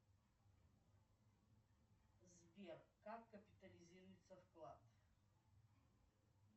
сбер как капитализируется вклад